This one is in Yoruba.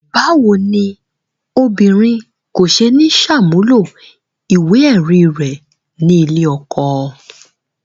Báwo ni obìnrin kò ṣe ní ṣàmúlò ìwé-ẹ̀rí rẹ̀ nílé ọkọ?